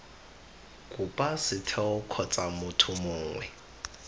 kopa setheo kgotsa motho mongwe